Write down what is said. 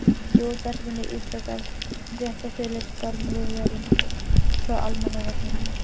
Í útvarpinu ítrekar fréttaþulur stormviðvörun frá Almannavörnum.